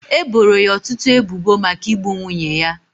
E boro ya ọtụtụ ebubo maka igbu nwunye ya.